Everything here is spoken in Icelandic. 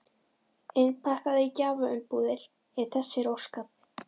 Innpakkaða í gjafaumbúðir ef þess er óskað.